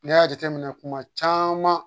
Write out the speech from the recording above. Ne y'a jateminɛ kuma caman